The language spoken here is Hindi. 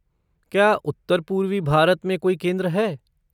क्या उत्तर पूर्वी भारत में कोई केंद्र है?